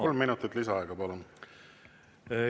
Kolm minutit lisaaega, palun!